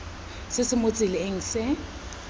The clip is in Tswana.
se se mo tseleng se